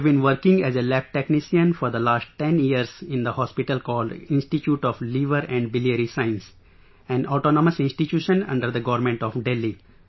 I have been working as a lab technician for the last 10 years in the hospital called Institute of Liver and Biliary Sciences, an autonomus institution, under the Government of Delhi